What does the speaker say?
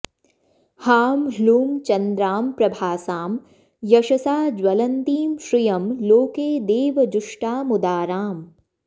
हां ह्लूं चन्द्रां प्रभासां यशसा ज्वलन्तीं श्रियं लोके देवजुष्टामुदाराम्